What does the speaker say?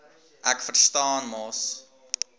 ek verstaan mos